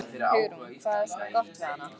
Hugrún: Hvað er svona gott við hana?